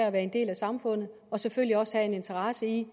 at være en del af samfundet og selvfølgelig også have en interesse i